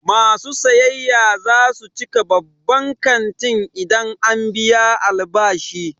Masu sayayya za su cika babban kantin idan an biya albashi.